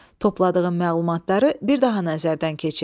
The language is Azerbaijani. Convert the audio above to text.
Topladığın məlumatları bir daha nəzərdən keçir.